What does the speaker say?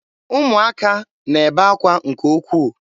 Ụmụaka n'ebe akwa nke ukwuu.